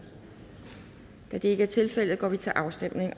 da det ikke er tilfældet går vi til afstemning